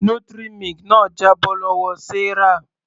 Nutri milk náà jábọ́ lọ́wọ Sarah.